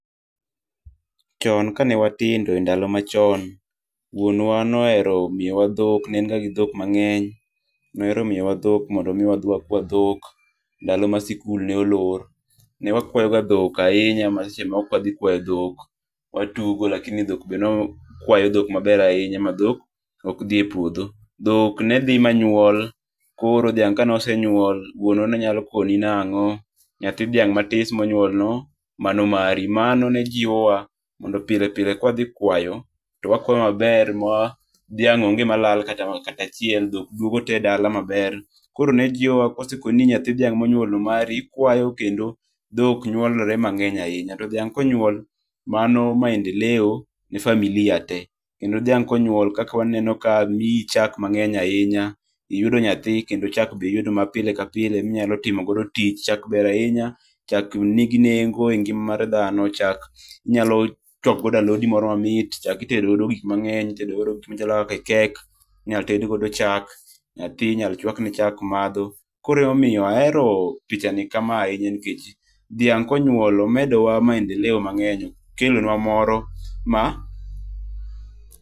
Chon kane watindo e ndalo achon, wuonwa nohero miyowa thok ne en ga gi thok mange'ny, nohero miyowa thok mondo omi wakwa thok ndalo mane sikul ne olor, ne wakuayoga thok ahinga ma seche moko ma ka wathi kwayo thok watugo lakini thok be newakwayo thok maber ahinya ma thok okthie puotho, thok ne thi manyuol koro thiang' kane osenyul koro wuonwa ne nyalo koni nango', nyathi thiang' matis monyuolno mano mari, mano ne jiwowa mondo pilepile ka wathi kwayo to wakuayo maber moa thiang' onge' ma lal kata achiel dhok duogo te dala maber, koro ne jiwowa kose ko no nyathi thiang' monyuolno mari ikwayo kendo thok nyuolore mange'ny ahinya, to thiang' konyuol mano maendeleo ne familia te kendo thiang' konyual koka waneno kaka miyi chak mange'ny ahinya, iyudo nyathi kendo chak be iyudo ma pile ka pile minyalo timogodo tich, chak ber ahinya, chak nigi nengo' e ngi'ma mar thano, chak inyalo chuako godo alodi moro mamit, chak itedo godo gik mange'ny, itedogodo gik machalo kika cake inyalo tednigodo chak, nyathi inyalo chwakne chak matho, koro ema omiyo ahero pichani kamae ahinya nikech thiang' konyuolo omedowa maendeleo mangeny' okelonwa moro ma.